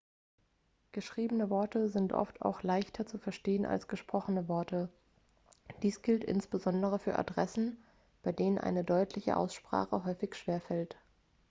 geschriebene worte sind oft auch leichter zu verstehen als gesprochene worte dies gilt insbesondere für adressen bei denen eine deutliche aussprache häufig schwer fällt